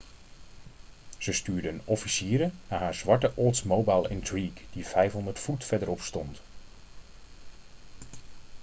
ze stuurde officieren naar haar zwarte oldsmobile intrigue die 500 voet verderop stond